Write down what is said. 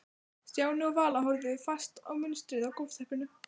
Stjáni og Vala horfðu fast á munstrið á gólfteppinu.